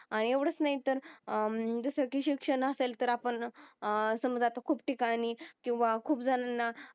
आणि येवडच नाही तर अं जस कि शिक्षण असेल तर आपन अं समझा अत्ता खूप ठिकाणी किव्हा खूप जना